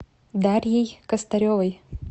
дарьей костаревой